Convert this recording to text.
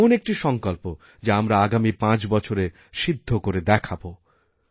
এমন একটি সঙ্কল্প যা আমরা আগামী পাঁচ বছরে সিদ্ধ করে দেখাবো